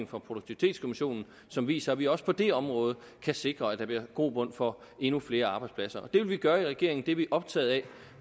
fra produktivitetskommissionen som viser at vi også på det område kan sikre at der bliver grobund for endnu flere arbejdspladser det vil vi gøre i regeringen det er vi optaget af